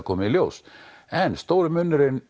komið í ljós en munurinn